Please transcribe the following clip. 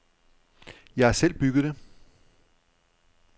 Jeg har selv bygget det.